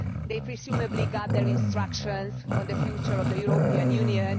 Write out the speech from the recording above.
They presumably got their instructions on the future of the European Union.